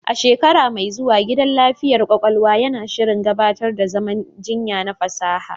A shekara mai zuwa, gidan lafiyar ƙwaƙwalwa yana shirin gabatar da zaman jinya na fasaha.